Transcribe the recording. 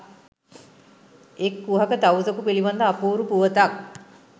එක් කුහක තවුසකු පිළිබඳ අපූරු පුවතක්